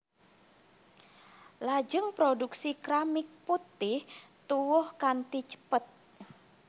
Lajeng produksi keramik putih tuwuh kanthi cepet